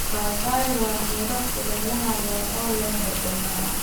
Papaya waa miro kulaylaha ah oo leh dhadhan macaan.